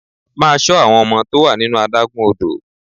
Máa ṣọ àwọn ọmọ tó wà nínú adágún odò!